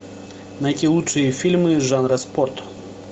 найти лучшие фильмы жанра спорт